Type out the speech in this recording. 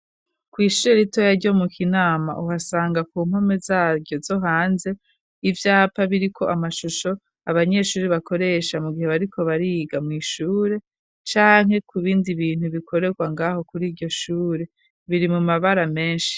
Kw’ishure ritoya ryo mu kinama uhasanga ku mpome zaryo zo hanze ivyapa biri k’amashusho abanyeshuri bakoresha mu gihe bariko bariga mw’ishure canke ku bindi bintu bikorerwa ngaho kuri iryo shure biri mu mabara menshi.